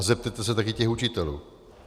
A zeptejte se taky těch učitelů.